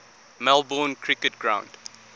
melbourne cricket ground